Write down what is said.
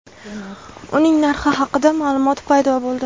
Uning narxi haqida ma’lumot paydo bo‘ldi.